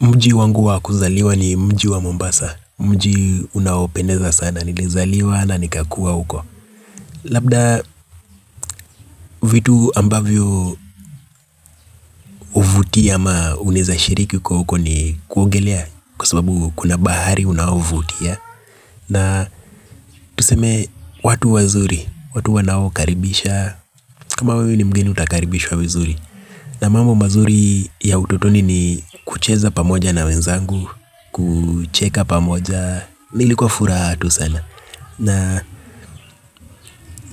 Mji wangu wakuzaliwa ni mji wa Mombasa. Mji unaopeneza sana nilizaliwa na nikakua huko. Labda vitu ambavyo vuti ama uneza shiriki ukiwa uko ni kuogelea. Kwa sasabu kuna bahari unaovutia. Na tuseme watu wazuri, watu wanao karibisha. Kama wewe ni mgeni utakaribishwa vizuri. Na mamu mazuri ya utotoni ni kucheza pamoja na wenzangu. Kucheka pamoja. Nilikuwa furaha tu sana na